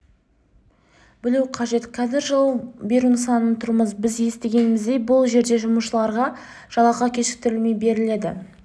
білуі қажет қазір жылу беру нысанында тұрмыз біз естігеніміздей бұл жерде жұмысшыларға жалақы кешіктірілмей беріледі